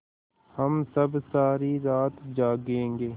हम सब सारी रात जागेंगे